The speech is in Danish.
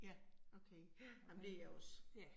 Ja, okay, men det jeg også